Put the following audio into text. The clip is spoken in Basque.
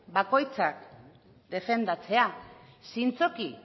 bakoitzak defendatzea zintzoki